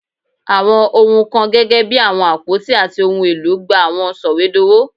Awọn ohun kan gẹgẹbi awọn apoti ati ohun elo gba awọn sọwedowo